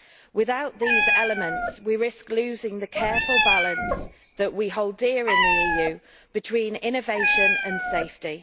Without these elements, we risk losing the careful balance that we hold dear in the EU between innovation and safety.